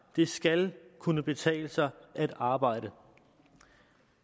det skal kunne betale sig at arbejde